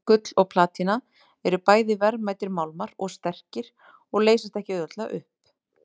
Gull og platína eru bæði verðmætir málmar og sterkir og leysast ekki auðveldlega upp.